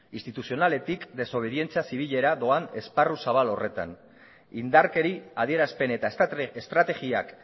instituzionaletik desobedientzia zibilera doan esparru zabal horretan indarkeri adierazpen eta estrategiak